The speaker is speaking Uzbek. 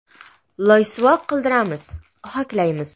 Loysuvoq qildiramiz, ohaklaymiz.